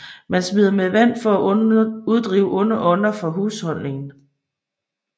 Man smider med vand for at uddrive onde ånder fra husholdningen